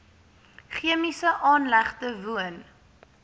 chemiese aanlegte woon